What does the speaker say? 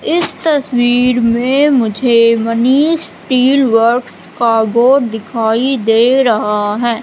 इस तस्वीर में मुझे मनीष स्टील वर्क्स का बोर्ड दिखाई दे रहा है।